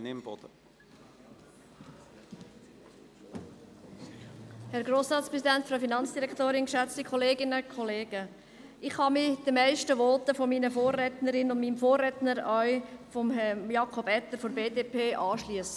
Ich kann mich den meisten Voten meiner Vorrednerinnen und Vorredner, auch jenem von Herrn Jakob Etter von der BDP, anschliessen.